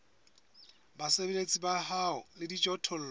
basebeletsi ba hao le dijothollo